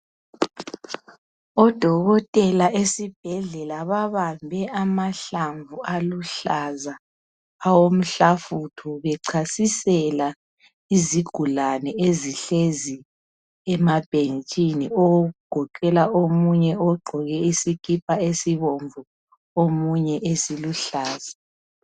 Odokotela esibhedlela babambe amahlamvu aluhlaza awomhlafutho bechasisela izigulane ezihlezi emabhentshini okugoqela omunye ogqoke isikipa esibomvu omunye esiluhlaza.